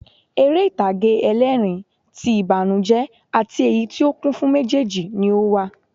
Eré ìtàgé ẹlẹ́ẹ̀rín, ti ìbànújẹ́ àti èyí tí ó kún fún méjèjì ni ó wà